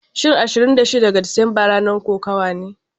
Shin Ashirin da shida ga Disamba ranar kokawa?